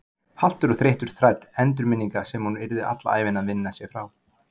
Haltur og þreyttur þræll endurminninga sem hún yrði alla ævina að vinna sig frá.